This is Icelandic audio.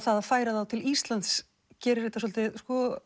að færa þá til Íslands gerir þetta svolítið